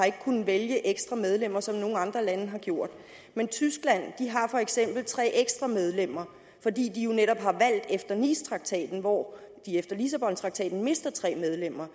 kunnet vælge ekstra medlemmer som nogle andre lande har gjort men tyskland har for eksempel tre ekstra medlemmer fordi de jo netop har valgt efter nicetraktaten hvor de efter lissabontraktaten mister tre medlemmer